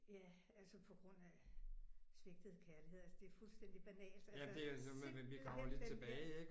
Ja altså på grund af svigtet kærlighed altså det er fuldstændig banalt altså simpelthen den der